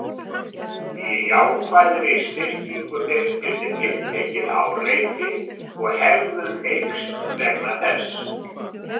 Í jákvæðri styrkingu birtist tiltekið áreiti og hegðun eykst vegna þess.